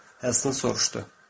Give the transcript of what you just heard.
Heston soruşdu.